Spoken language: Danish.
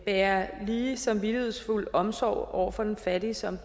bære lige samvittighedsfuld omsorg for den fattige som